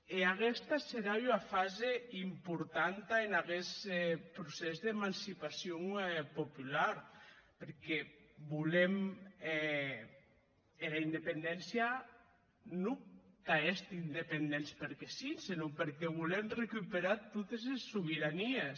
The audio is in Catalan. e aguesta serà una fasa importanta en aguest procés d’emancipacion popular perque volem era independéncia non tà èster independents perque sí senon perque volem recuperar totes es sobeiranies